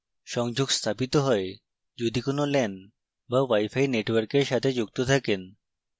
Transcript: সংযোগ স্থাপিত হয় যদি কোনো lan বা wifi network সাথে যুক্ত থাকেন